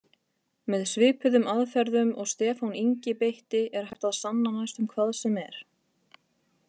Með svipuðum aðferðum og Stefán Ingi beitti er hægt að sanna næstum hvað sem er.